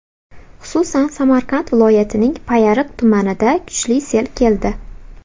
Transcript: Xususan, Samarqand viloyatining Payariq tumanida kuchli sel keldi.